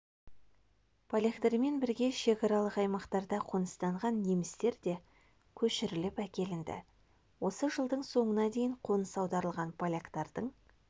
поляктармен бірге шекаралық аймақтарда қоныстанған немістер де көшіріліп әкелінді осы жылдың соңына дейін қоныс аударылған поляктардың